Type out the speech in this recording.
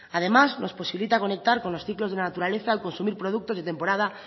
además nos posibilita conectar con los ciclos de la naturaleza al consumir productos de temporada